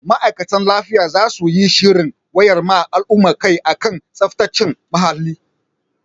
Ma'aikatan lafiya za su yi shirin wayar ma al'umma kai a kan tsaftace muhalli.